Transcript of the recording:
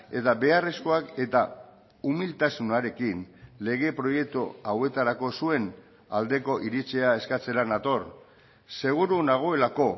eta beharrezkoak eta umiltasunarekin lege proiektu hauetarako zuen aldeko iritzia eskatzera nator seguru nagoelako